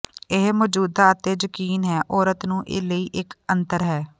ਇਹ ਮੌਜੂਦਾ ਅਤੇ ਯਕੀਨ ਹੈ ਔਰਤ ਨੂੰ ਲਈ ਇੱਕ ਅਤਰ ਹੈ